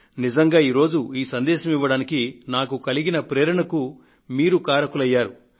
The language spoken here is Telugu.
నిజంగా ఈ రోజు ఈ సందేశాన్ని ఇవ్వడానికి నాకు కలిగిన ప్రేరణకు మీరు కారకులయ్యారు